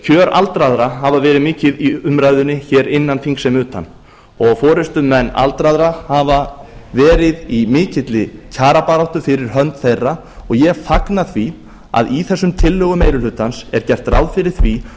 kjör aldraðra hafa verið mikið í umræðunni hér innan þings sem utan og forustumenn aldraðra hafa verið í mikilli kjarabaráttu fyrir hönd þeirra og ég fagna því að í þessum tillögum meiri hlutans er gert ráð fyrir því